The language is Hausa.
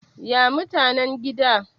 ya mutanen gida?